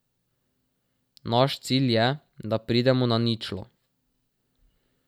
Naš cilj je, da pridemo na ničlo.